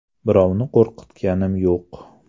Birovni qo‘rqitganim yo‘q.